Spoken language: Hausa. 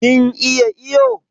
Kin iya iyo?